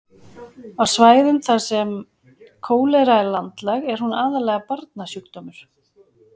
á svæðum þar sem kólera er landlæg er hún aðallega barnasjúkdómur